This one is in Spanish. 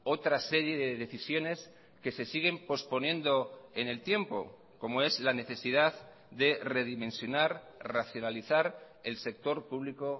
otra serie de decisiones que se siguen posponiendo en el tiempo como es la necesidad de redimensionar racionalizar el sector público